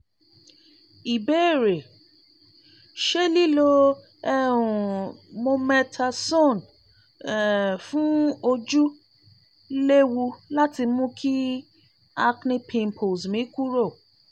ìbéèrè: ṣé liló um mometasone um fun ojú léwu láti mú kí acne pimples mi kúrò?